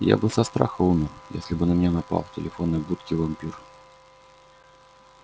я бы со страха умер если бы на меня напал в телефонной будке вампир